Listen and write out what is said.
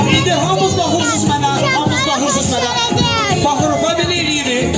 İndi hamımız baxırıq, onda belə eləyirik.